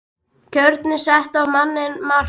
Kjörin settu á manninn mark